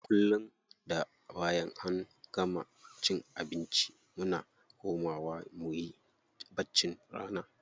Kullum da bayan an gama cin abinci muna komawa muyi baccin rana.